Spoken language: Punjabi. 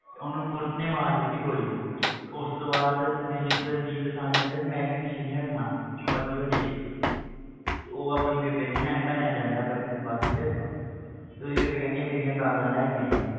ਉਹਨੂੰ ਪੁਲਿਸ ਨੇ ਮਾਰ ਦਿੱਤੀ ਗੋਲੀ ਤੇ ਉਸ ਤੋਂ ਬਾਅਦ ਦਲਜੀਤ ਦਲਜੀਤ ਦੋਸਾਂਝ ਕਹਿੰਦਾ ਵੀ ਮੈਂ ਵੀ ਪਿੱਛੇ ਨੀ ਹਟਣਾ ਜੋ ਮਰਜ਼ੀ ਹੋ ਜਾਏ ਤੇ ਉਹ ਨਾ ਆਪਣੀ ਬੇਬੇ ਦੀਆਂ ਨਾ ਐਨਕਾਂ ਲੈਣ ਜਾਂਦਾ ਵਾ ਇੱਕ ਦਿਨ ਬਸ 'ਚ ਤੇ ਉਹਦੀ ਬੇਬੇ ਕਹਿੰਦੀ ਹੈ ਮੇਰੀਆਂ ਗਾਗਲਾਂ ਲੈ ਕੇ ਆਈਂ